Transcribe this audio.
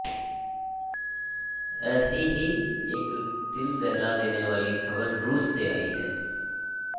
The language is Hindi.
ऐसी ही एक दिल दहला देने वाली खबर रूस से आई है